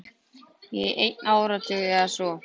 Í einn áratug eða svo.